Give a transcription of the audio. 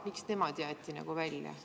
Miks nemad jäeti välja?